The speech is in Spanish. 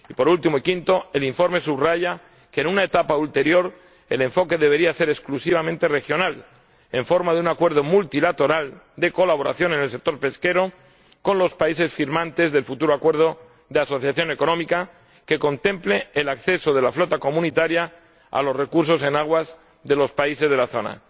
Por último, en quinto lugar, el informe subraya que, en una etapa ulterior, el enfoque debería ser exclusivamente regional, en forma de un acuerdo multilateral de colaboración en el sector pesquero con los países firmantes del futuro Acuerdo de Asociación Económica que contemple el acceso de la flota comunitaria a los recursos en aguas de los países de la zona.